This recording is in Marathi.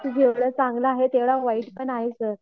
जेवढा चांगला तेवढा वाईट पण आहे सर.